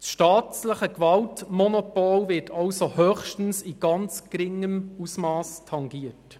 Das staatliche Gewaltmonopol wird somit höchstens in sehr geringem Ausmass tangiert.